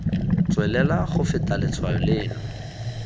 tswelela go feta letshwao leno